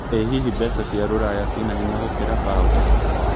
ĩ hihi mbeca cĩa rũraya cĩna hĩnya gukĩra paũndi